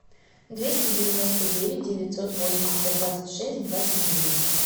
двести девяносто девять девятьсот восемьдесят двадцать шесть двадцать девять